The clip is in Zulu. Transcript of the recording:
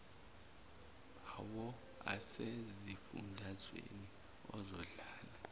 awo asezifundazweni uzodlala